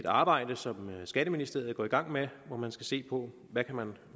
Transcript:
arbejde som skatteministeriet går i gang med hvor man skal se på